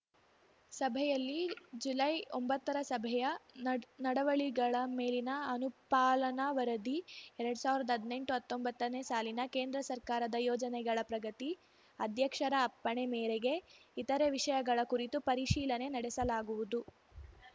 ಸಭೆಯಲ್ಲಿ ಜುಲೈಒಂಬತ್ತರ ಸಭೆಯ ನಡವಳಿಗಳ ಮೇಲಿನ ಅನುಪಾಲನಾ ವರದಿ ಎರಡ್ ಸಾವಿರ್ದಾ ಹದ್ನೆಂಟುಹತ್ತೊಂಬತ್ತನೇ ಸಾಲಿನ ಕೇಂದ್ರ ಸರ್ಕಾರದ ಯೋಜನೆಗಳ ಪ್ರಗತಿ ಅಧ್ಯಕ್ಷರ ಅಪ್ಪಣೆ ಮೇರೆಗೆ ಇತರೆ ವಿಷಯಗಳ ಕುರಿತು ಪರಿಶೀಲನೆ ನಡೆಸಲಾಗುವುದು